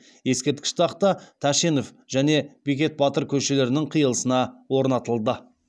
ескерткіш тақта тәшенов және бекет батыр көшелерінің қиылысына орнатылды